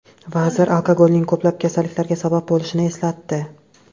Vazir alkogolning ko‘plab kasalliklarga sabab bo‘lishini eslatdi.